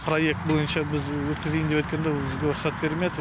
проект бойынша біз өткізейін деп өткенде бізге рұқсат бермеді